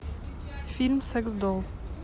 фильм секс долл